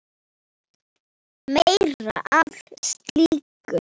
Meira af slíku!